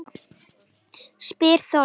spyr Þórður